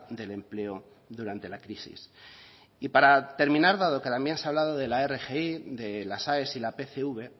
del empleo durante la crisis y para terminar dado que en la enmienda se ha hablado de la rgi de las aes y la pcv